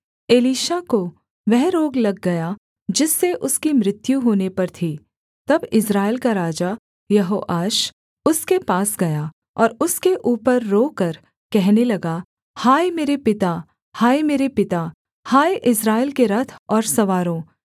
Elisha को वह रोग लग गया जिससे उसकी मृत्यु होने पर थी तब इस्राएल का राजा यहोआश उसके पास गया और उसके ऊपर रोकर कहने लगा हाय मेरे पिता हाय मेरे पिता हाय इस्राएल के रथ और सवारों एलीशा ने उससे कहा धनुष और तीर ले आ